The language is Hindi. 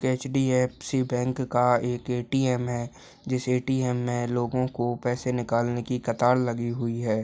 एच.डी.एफ.सी. बैंक का एक ए.टी.एम. है जिस ए.टी.एम. में लोगों को पैसे निकालने की कतार लगी हुई है।